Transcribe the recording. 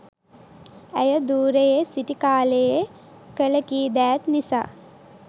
ඇය ධූරයේ සිටි කාලයේ කළ කීදෑත් නිසා